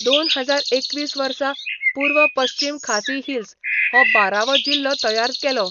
दोन हजार एकवीस वर्सा पूर्व पश्चीम खासी हिल्स, हो बारावो जिल्लो तयार केलो.